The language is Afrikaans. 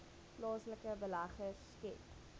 plaaslike beleggers skep